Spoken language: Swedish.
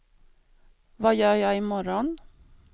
vad gör jag imorgon